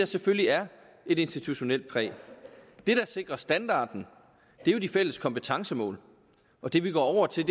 selvfølgelig er et institutionelt præg det der sikrer standarden er jo de fælles kompetencemål og det vi går over til